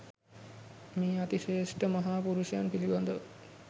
මේ අතිශ්‍රේෂ්ඨ මහා පුරුෂයන් පිළිබඳව